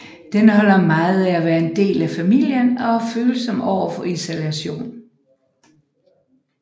Den holder meget af at være en del af familien og er følsom overfor isolation